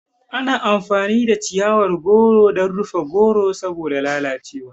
Ana amfani da chiyawar goro dan rufe goron saboda lalace wa